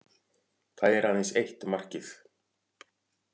Það er aðeins eitt markið